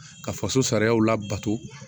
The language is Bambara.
Ka faso sariyaw labato